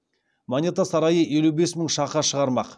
монета сарайы елу бес мың шақа шығармақ